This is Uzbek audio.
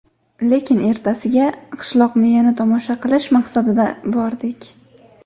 Lekin ertasiga qishloqni yana tomosha qilish maqsadida bordik.